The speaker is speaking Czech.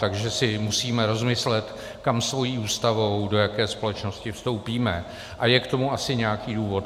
Takže si musíme rozmyslet, kam svou Ústavou, do jaké společnosti vstoupíme, a je k tomu asi nějaký důvod.